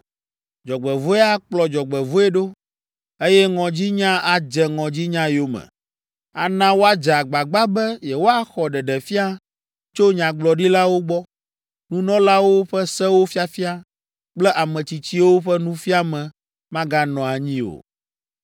Dzɔgbevɔ̃e akplɔ dzɔgbevɔ̃e ɖo, eye ŋɔdzinya adze ŋɔdzinya yome. Ana woadze agbagba be yewoaxɔ ɖeɖefia tso nyagblɔɖilawo gbɔ, nunɔlawo ƒe sewo fiafia kple ametsitsiwo ƒe nufiame maganɔ anyi o.